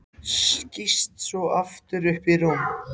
Skýst svo aftur upp í rúm.